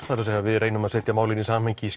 það er að segja við reynum að setja málið í samhengi